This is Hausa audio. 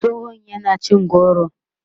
tsohon yana cin goro